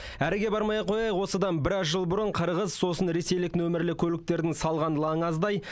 әріге бармай ақ қояйық осыдан біраз жыл бұрын қырғыз сосын ресейлік нөмірлі көліктердің салған лаңы аздай